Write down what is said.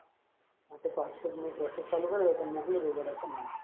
હા તો passport ની process ચાલુ કરી દે તન મોકલી દઉં ગોડા ચો ના હે.